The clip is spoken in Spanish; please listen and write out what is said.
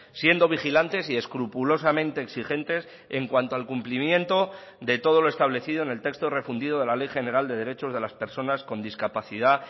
siendo vigilantes y escrupulosamente exigentes en cuanto al cumplimiento de todo lo establecido en el texto refundido de la ley general de derechos de las personas con discapacidad